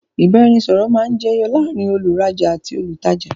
ìbáraẹnisọọ̀rọ̀ máa ń jẹ yọ láàrín òun rajá àti olùtajà